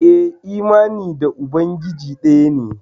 Eh imani da ubangiji daya ne.